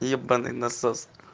ебанный насос